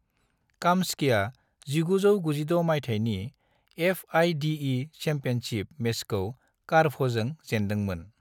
काम्स्कीया 1996 माइथायनि FIDE. Championship मेचखौ कारपभजों जेनदोंमोन ।